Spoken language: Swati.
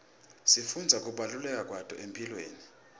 sifundza kubaluleka kwato ekuphileni